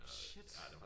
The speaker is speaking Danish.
Shit